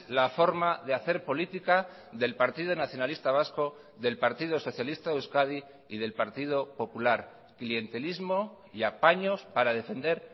la forma de hacer política del partido nacionalista vasco del partido socialista de euskadi y del partido popular clientelismo y apaños para defender